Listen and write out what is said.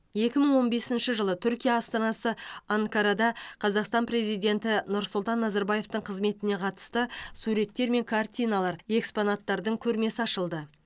екі мың он бесінші жылы түркия астанасы анкарада қазақстан президенті нұрсұлтан назарбаевтың қызметіне қатысты суреттер мен картиналар экспонаттардың көрмесі ашылды